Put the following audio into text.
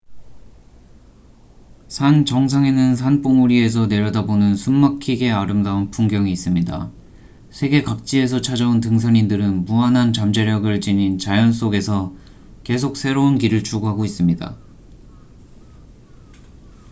산 정상에는 산봉우리에서 내려다보는 숨 막히게 아름다운 풍경이 있습니다 세계 각지에서 찾아온 등산인들은 무한한 잠재력을 지닌 자연 속에서 계속 새로운 길을 추구하고 있습니다